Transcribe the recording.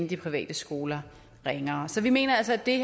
de private skoler ringere så vi mener altså at det